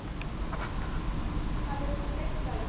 ਸਾਡੇ ਸਕੂਲ ਤਾਂ ਇੱਕ ਆ ਜੀ।